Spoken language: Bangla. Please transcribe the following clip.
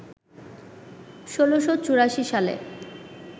১৬৮৪ সালে